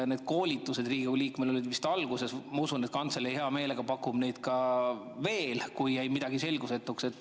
Need koolitused Riigikogu liikmetele olid vist alguses ja ma usun, et kantselei hea meelega pakub neid ka veel, kui jäi midagi selgusetuks.